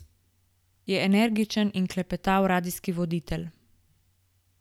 Je energičen in klepetav radijski voditelj.